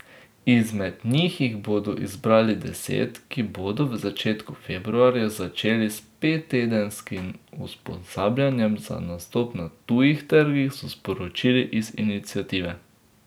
Izmed njih jih bodo izbrali deset, ki bodo v začetku februarja začeli s pettedenskim usposabljanjem za nastop na tujih trgih, so sporočili iz iniciative.